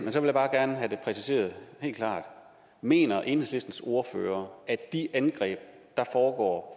præciseret helt klart mener enhedslistens ordfører at de angreb der foregår